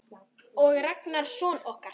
Og Ragnar son okkar.